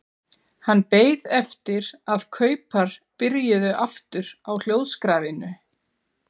Hann beið eftir að kaupar byrjuðu aftur á hljóðskrafinu.